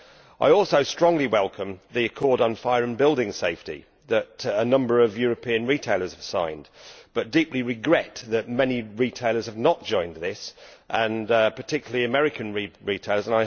I also strongly welcome the accord on fire and building safety that a number of European retailers have signed but deeply regret that many retailers have not joined this particularly American retailers.